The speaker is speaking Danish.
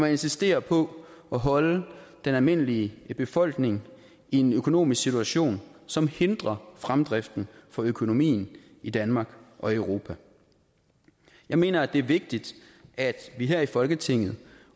insisterer på at holde den almindelige befolkning i en økonomisk situation som hindrer fremdriften for økonomien i danmark og europa jeg mener at det er vigtigt at vi her i folketinget